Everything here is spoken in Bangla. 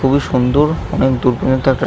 খুবই সুন্দর অনেক দূর পর্যন্ত একটা--